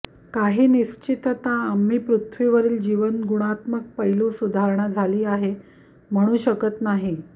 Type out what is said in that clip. काही निश्चितता आम्ही पृथ्वीवरील जीवन गुणात्मक पैलू सुधारणा झाली आहे म्हणू शकत नाही